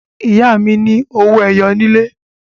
Ìyá mi ní owó ẹyọ nílé.